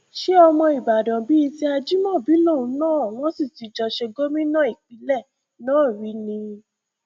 ṣe ọmọ ìbàdàn bíi ti ajimobi lòun náà wọn sì ti jọ ṣe gómìnà ìpínlẹ náà rí ni